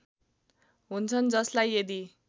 हुन्छन् जसलाई यदि